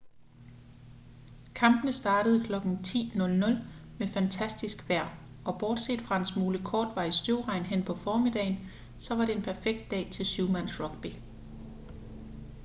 kampene startede kl. 10:00 med fantastisk vejr og bortset fra en smule kortvarig støvregn hen på formiddagen så var det en perfekt dag til syvmandsrugby